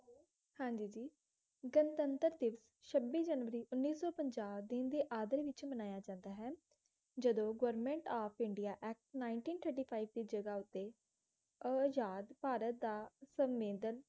ਹਾਂ ਜੀ ਜੀ ਗਣਤੰਤਰ ਦਿਵਸ ਉੱਨੀ ਸੌ ਪੰਜਾਹ ਦਿਨ ਦੇ ਅੰਦਰ ਵਿੱਚ ਮਨਾਇਆ ਜਾਂਦਾ ਹੈ ਜਦੋਂ government of India act nineteen thirty five ਦੀ ਜਗ੍ਹਾ ਉੱਤੇ ਆਜ਼ਾਦ ਭਾਰਤ ਦਾ ਸੰਵਿਧਾਨ